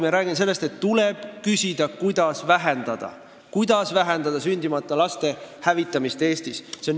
Ma räägin sellest, et tuleb küsida, kuidas vähendada sündimata laste hävitamist Eestis.